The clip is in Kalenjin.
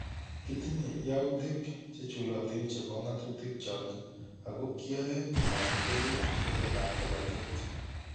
"Kitinye yautik chechulotin chebo ngatutik chok ako kiyae komakikere kereetab polatet